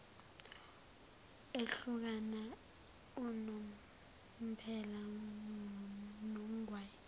ehlukana unomphela nogwayi